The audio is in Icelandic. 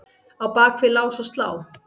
Á bak við lás og slá?